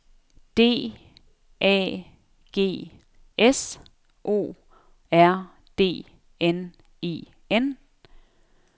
D A G S O R D N E N